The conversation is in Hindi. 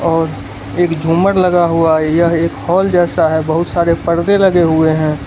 और एक झुमर लगा हुआ है यह एक हाल जैसा है बहुत सारे परदे लगे हुए हैं।